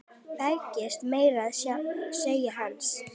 Beygist meira að segja eins!